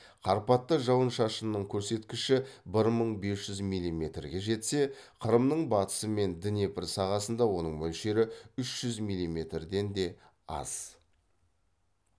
карпатта жауын шашынның көрсеткіші бір мың бес жүз миллиметрге жетсе қырымның батысы мен днепр сағасында оның мөлшері үш жүз миллиметрден де аз